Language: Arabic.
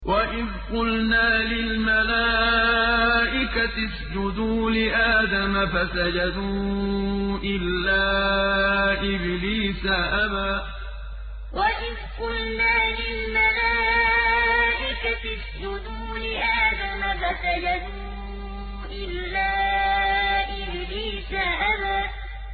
وَإِذْ قُلْنَا لِلْمَلَائِكَةِ اسْجُدُوا لِآدَمَ فَسَجَدُوا إِلَّا إِبْلِيسَ أَبَىٰ وَإِذْ قُلْنَا لِلْمَلَائِكَةِ اسْجُدُوا لِآدَمَ فَسَجَدُوا إِلَّا إِبْلِيسَ أَبَىٰ